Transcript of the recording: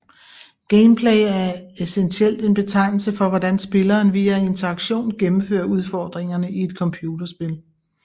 Gameplay er essentielt en betegnelse for hvordan spilleren via interaktion gennemfører udfordringerne i et computerspil